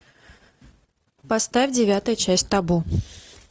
поставь девятая часть табу